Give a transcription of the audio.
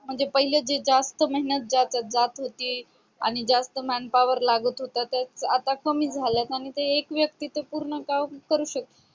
म्हणजे जे जास्त मेहनत जात होती आणि जास्त manpower लागत होत्या तर तसेच आता कमी झाल्यात आणि ते एक व्यक्तीच पूर्ण काम करू शकते.